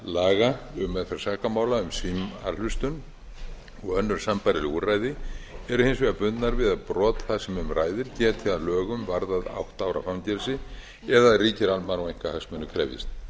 laga um meðferð sakamála um símahlustun og önnur sambærileg úrræði eru hins vegar bundnar við að brot það sem um ræðir geti a lögum varðað átta ára fangelsi eða ríkir almannahagsmunir krefjist